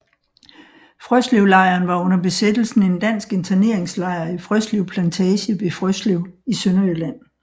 Frøslevlejren var under besættelsen en dansk interneringslejr i Frøslev Plantage ved Frøslev i Sønderjylland